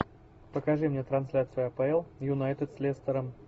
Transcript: покажи мне трансляцию апл юнайтед с лестером